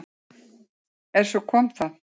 En svo kom það!